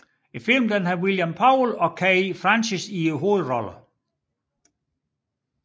Filmen har William Powell og Kay Francis i hovedrollerne